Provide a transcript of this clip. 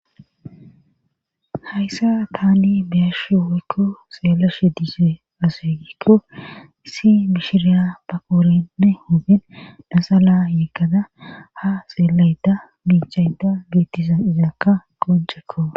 hayssa taani beyashu woykko seelashe diise aseegikko si mishiriya paqoorenne hopin dhasa laa yeekada ha seelayda biichayda beettisa izakka qoncekko